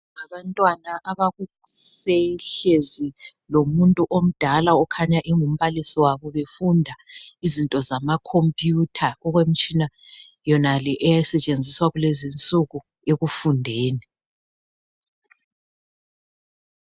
Abantwana abakuse hlezi lomuntu omdala okhanya engumbalisi wabo befunda izinto zamakhompuyutha okwemitshina yonale esetshenziswa kulezinsuku ekufundeni.